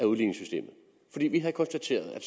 udligningssystemet fordi vi havde konstateret at